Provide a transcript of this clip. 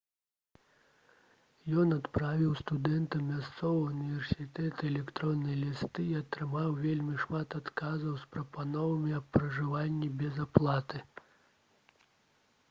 ён адправіў студэнтам мясцовага ўніверсітэта электронныя лісты і атрымаў вельмі шмат адказаў з прапановамі аб пражыванні без аплаты